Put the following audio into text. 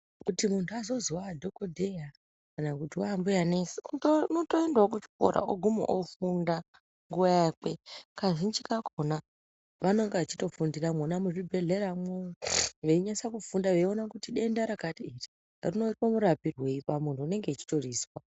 Kuti muntu azozi waadhokodheya kana kuti waambuya nesi, unotoendawo kuchikora oguma ofunda nguwa yakwe. Kazhinji kakhona, vanonga vachitofundira mwona muzvibhedhleramwo, veinyatsa kufunda veiona kuti denda rakati iri rinoitwa murapirwei pamuntu unenge echitorizwa.